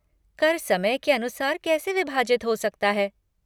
कर समय के अनुसार कैसे विभाजित हो सकता है?